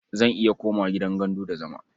Zan iya komawa gidan gandu da zama.